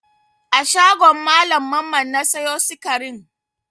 A shagon Mallam Mamman na sayo sikarin?